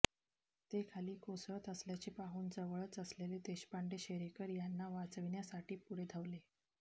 ते खाली कोसळत असल्याचे पाहून जवळच असलेले देशपांडे शेरेकर यांना वाचविण्यासाठी पुढे धावले